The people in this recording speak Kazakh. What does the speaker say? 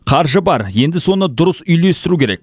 қаржы бар енді соны дұрыс үйлестіру керек